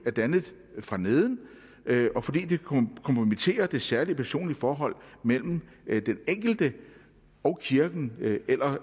er dannet fra neden og fordi det kompromitterer det særlige personlige forhold mellem den enkelte og kirken eller